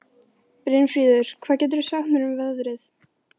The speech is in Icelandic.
Brynfríður, hvað geturðu sagt mér um veðrið?